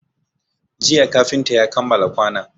Jiya kafinta ya kammala kwanon